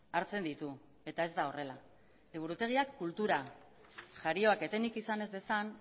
hartzen ditu eta ez da horrela liburutegiak kultura jarioak etenik izan ez dezan